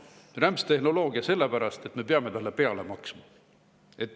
Rämpstehnoloogia sellepärast, et me peame sellele peale maksma.